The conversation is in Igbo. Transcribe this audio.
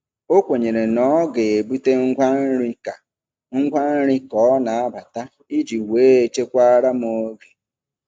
O kwenyere na ọ ga-ebute ngwa nri ka ngwa nri ka ọ na-abata iji wee chekwaara m oge.